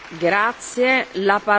Frau Präsidentin!